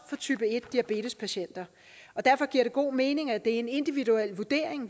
for type en diabetespatienter derfor giver det god mening at det er en individuel vurdering